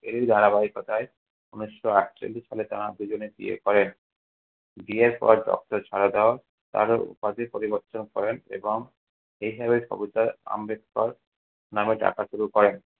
এই ধারাবাহিকতায় ঊনিশশো আটচল্লিশ সালে তারা দুজনে বিয়ে করেন বিয়ের পর doctor শারদা তার উপাধি পরিবর্তন করেন এবং এইভাবে আম্বেদকর নামে ডাকা শুরু করেন।